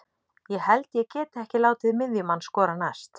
Ég held ég geti ekki látið miðjumann skora mest.